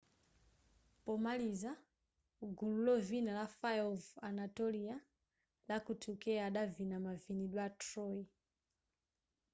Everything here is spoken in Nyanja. pomaliza gulu lovina la fire of anatolia la kuturkey adavina mavinidwe a troy